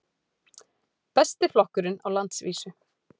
Besti flokkurinn á landsvísu